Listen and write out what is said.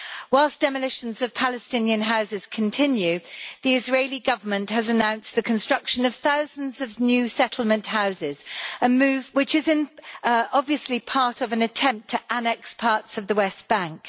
Whilst demolitions of Palestinian houses continue, the Israeli Government has announced the construction of thousands of new settlement houses a move which is obviously part of an attempt to annex parts of the West Bank.